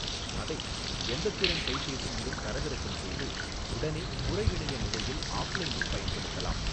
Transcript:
அதை, எந்த திறன் கைப்பேசியிலும் தரவிறக்கம் செய்து, உடனே புறஇணைய நிலையில் ஆப்லைனில் பயன்படுத்தலாம்.